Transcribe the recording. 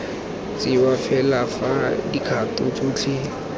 tsewa fela fa dikgato tsotlhe